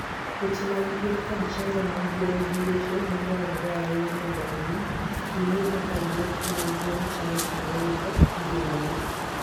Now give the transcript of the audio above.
Weche mag thieth kod chanjo mag gwen gin weche madwarore ahinya mondo omi ing'e kaka kweth mar gwen chalo kendo rito ngimagi.